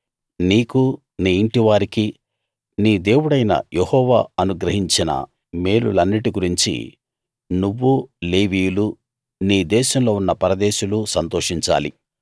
నీకూ నీ ఇంటి వారికీ నీ దేవుడైన యెహోవా అనుగ్రహించిన మేలులన్నిటి గురించి నువ్వూ లేవీయులూ నీ దేశంలో ఉన్న పరదేశులూ సంతోషించాలి